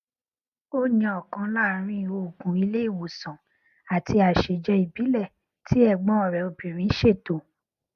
ó yan ọkan láàrín òògùn ilé ìwòsàn àti àsèjẹ ìbílẹ tí ẹgbọn rẹ obìnrin ṣètò